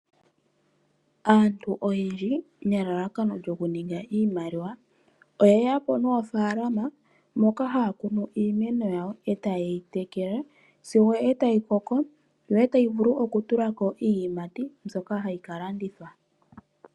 Aantu oyendji nelalakano lyoku mona iimaliwa ohaye ya po noofalama dhoka haya kunu iimeno yawo etayeyi tekele sigo tayi koko yo tayo vulu okutula ko iiyimati mbyoka hayi ka landithwa.